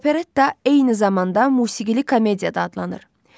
Operetta eyni zamanda musiqili komediya da adlanır.